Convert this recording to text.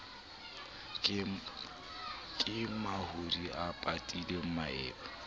ke mahodi a patile maeba